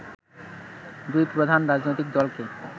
দুই প্রধান রাজনৈতিক দলকে